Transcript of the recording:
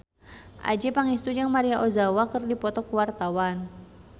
Adjie Pangestu jeung Maria Ozawa keur dipoto ku wartawan